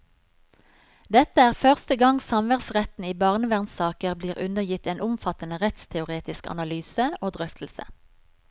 Dette er første gang samværsretten i barnevernssaker blir undergitt en omfattende rettsteoretisk analyse og drøftelse.